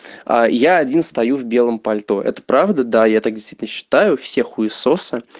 а я один стою в белом пальто это правда да я так действительно считаю все хуесосы